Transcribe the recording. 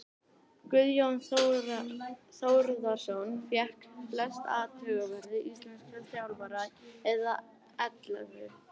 Guðjón Þórðarson fékk flest atkvæði íslenskra þjálfara eða ellefu.